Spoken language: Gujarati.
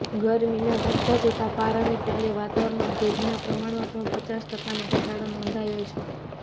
ગરમીના વધતા જતા પારાને પગલે વાતાવરણમાં ભેજના પ્રમાણમાં પણ પચાસ ટકાનો ઘટાડો નોંધાયો છે